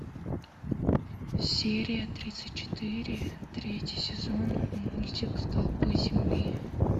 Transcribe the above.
серия тридцать четыре третий сезон мультик столпы земли